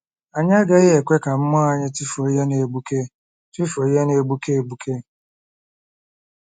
Anyị agaghị ekwe ka mmụọ anyị tụfuo ihe na-egbuke tụfuo ihe na-egbuke egbuke